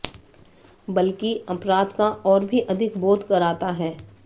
बल्कि अपराध का और भी अधिक बोध कराता है